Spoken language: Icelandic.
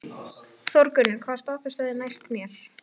Þórgunnur, hvaða stoppistöð er næst mér?